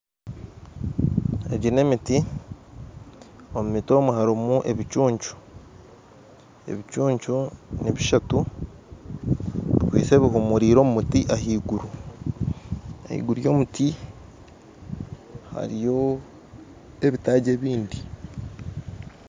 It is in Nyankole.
Egi n'emiti omu miti omu harimu ebicucu ebicucu nibishatu bikwaitse bihumuriire omu muti ahaiguru ahaiguru yomuti hariyo ebitaagi ebindi